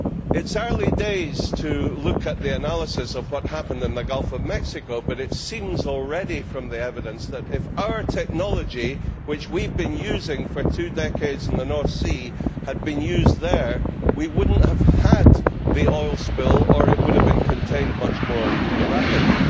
It is early days to look at the analysis of what happened in the Gulf of Mexico, but from the evidence, it already seems that if our technology, which we have been using for two decades in the North Sea, had been used there, we would not have had the oil spill, or it would have been contained much more rapidly.